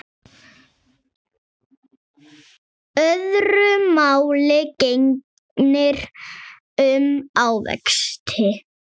Öðru máli gegnir um ávexti.